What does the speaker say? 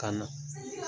Ka na